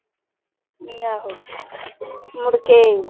ਆਹੋ ਮੁੜਕੇ,